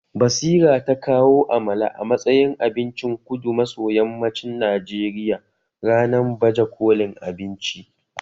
Basira ta kawo Amala a matsayin abincin kudu maso yammacin Najeriya ranan baje kolin abinci